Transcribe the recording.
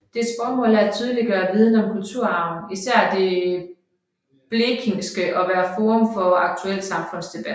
Dets formål er at tydeliggøre viden om kulturarven især det blekingske og være forum for aktuel samfundsdebat